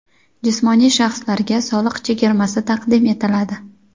jismoniy shaxslarga soliq chegirmasi taqdim etiladi:.